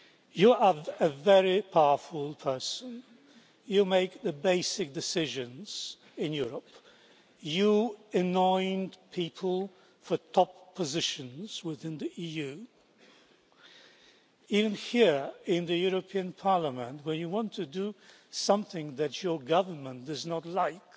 You are a very powerful person. You make the basic decisions in Europe. You anoint people for top positions within the EU. Even here in the European Parliament, when you want to do something that your government does not like